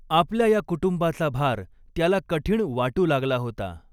आपल्या या कुटुंबाचा भार त्याला कठीण वाटू लागला होता.